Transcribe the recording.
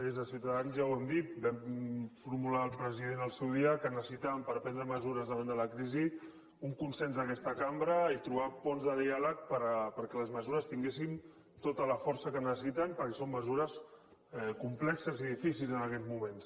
des de ciutadans ja ho hem dit vam formular al president al seu dia que necessitàvem per prendre mesures davant de la crisi un consens d’aquesta cambra i trobar ponts de diàleg perquè les mesures tinguessin tota la força que necessiten perquè són mesures complexes i difícils en aquests moments